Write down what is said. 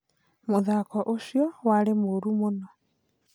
Muthako ũcio warĩ mũru mũno